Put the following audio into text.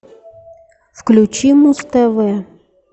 включи муз тв